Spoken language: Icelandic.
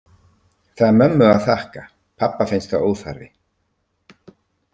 Það er mömmu að þakka, pabba finnst það óþarfi.